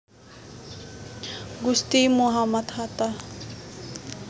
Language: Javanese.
Gusti Muhammad Hatta